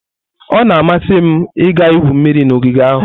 Ọ na-amasị m ịga igwu mmiri n'ogige ahụ.